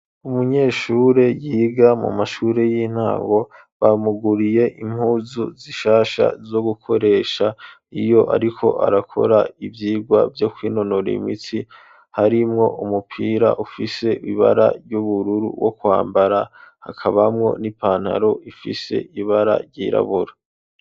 Umunyeshure yiga mu mashure y'intango bamuguriye impuzu zishasha zo gukoresha iyo, ariko arakora ivyirwa vyo kwinonora imitsi harimwo umupira ufise ibara ry'ubururu wo kwambara hakabamwo n'ipantaro ifise ibara ryiraa abura.